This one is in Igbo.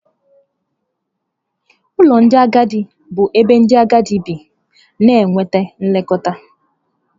Ụlọ ndị agadi bụ ebe ndị agadi bi na-enweta nlekọta.